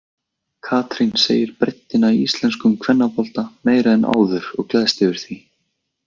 Katrín segir breiddina í íslenskum kvennabolta meiri en áður og gleðst yfir því.